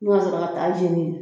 Ni ka sɔrɔ k'a jeni